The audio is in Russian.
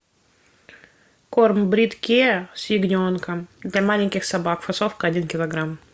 корм брит кеа с ягненком для маленьких собак фасовка один килограмм